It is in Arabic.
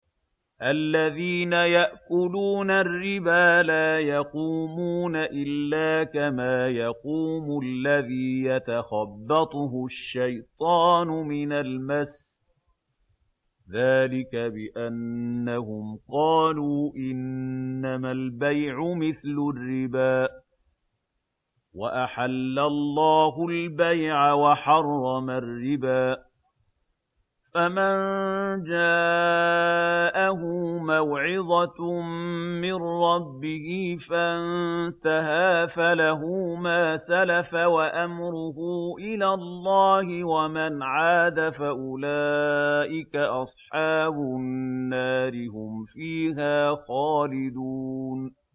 الَّذِينَ يَأْكُلُونَ الرِّبَا لَا يَقُومُونَ إِلَّا كَمَا يَقُومُ الَّذِي يَتَخَبَّطُهُ الشَّيْطَانُ مِنَ الْمَسِّ ۚ ذَٰلِكَ بِأَنَّهُمْ قَالُوا إِنَّمَا الْبَيْعُ مِثْلُ الرِّبَا ۗ وَأَحَلَّ اللَّهُ الْبَيْعَ وَحَرَّمَ الرِّبَا ۚ فَمَن جَاءَهُ مَوْعِظَةٌ مِّن رَّبِّهِ فَانتَهَىٰ فَلَهُ مَا سَلَفَ وَأَمْرُهُ إِلَى اللَّهِ ۖ وَمَنْ عَادَ فَأُولَٰئِكَ أَصْحَابُ النَّارِ ۖ هُمْ فِيهَا خَالِدُونَ